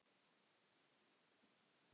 Ertu á föstu núna?